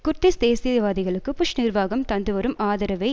Kurdish தேசியவாதிகளுக்கு Bush நிர்வாகம் தந்துவரும் ஆதரவை